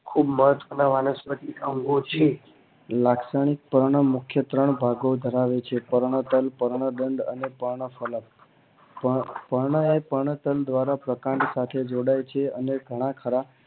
ખુબ વનસ્પતિ ના અંગો છે લાક્ષણીતા ઓના મુખ્ય ત્રણ ભાગો દર્શાવે છે પર્ણ ગંધ પર્ણ તલ અને પર્ણ ફલંન પર્ણ ફળ દ્વારા પ્રકાંડ સાથે જોડાય છે ને ઘણા ખરા